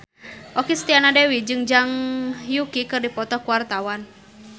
Okky Setiana Dewi jeung Zhang Yuqi keur dipoto ku wartawan